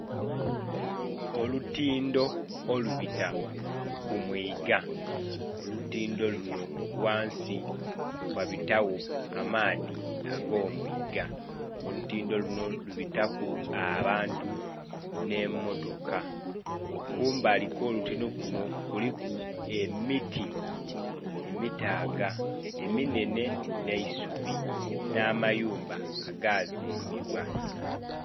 Olutindho olubita ku mwiiga, olutindho lunho ghansi ghabitagho amaadhi ago mwiiga, olutindho lunho lubitamu abantu nhe motoka kumbali kwo olutindho lunho kilimu emiti emitaaga eminhenhe nhe'isubi nha mayumba aga zimbibwa.